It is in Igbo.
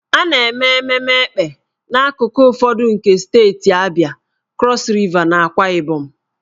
A na-eme ememme Èkpè n'akụkụ ụfọdụ nke steeti Abịa, Krọs Riva, na Akwa Ibom.